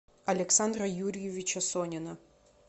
александра юрьевича сонина